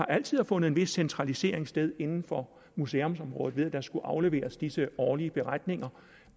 altid har fundet en vis centralisering sted inden for museumsområdet ved at der skulle afleveres disse årlige beretninger